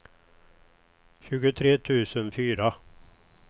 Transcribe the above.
tjugotre tusen fyra